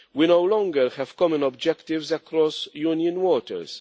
We no longer have common objectives across Union waters.